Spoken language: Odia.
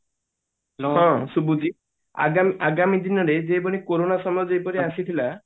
ଆଗା ଆଗାମୀ ଦିନରେ କୋରୋନା ସମୟ ଜିପରି ଆସିଥିଲା